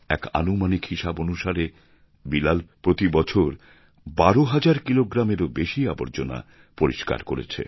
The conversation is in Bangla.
এক আনুমানিক হিসাব অনুসারে বিলাল প্রতি বছর ১২ হাজার কিলোগ্রামেরও বেশি আবর্জনা পরিষ্কার করেছে